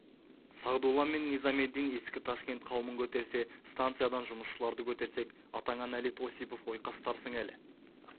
сағдулла мен низамеддин ескі ташкент қауымын көтерсе станциядан жұмысшыларды көтерсек атаңа нәлет осипов ойқастарсың әлі